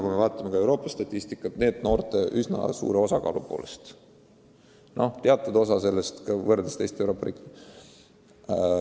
Kui me vaatame Euroopa statistikat, siis me torkame silma NEET-noorte üsna suure osakaalu poolest.